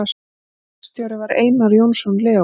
Verkstjóri var Einar Jónsson Leó.